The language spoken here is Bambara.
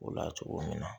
O la cogo min na